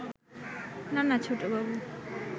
না না ছোটবাবু